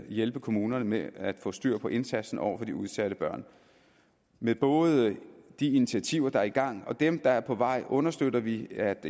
hjælpe kommunerne med at få styr på indsatsen over for de udsatte børn med både de initiativer der er i gang og dem der er på vej understøtter vi at